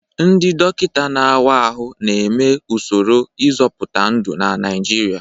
Ndị dọkịta na-awa ahụ na-eme usoro ịzọpụta ndụ na Naijiria.